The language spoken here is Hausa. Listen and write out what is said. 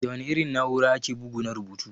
Da wana irin na'ura ake bugu na rubutu?